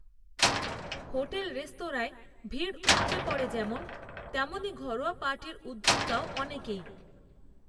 hotel রেস্তোরাঁয় ভিড় উপচে পড়ে যেমন তেমনই ঘরোয়া পার্টির উদোক্তাও অনেকেই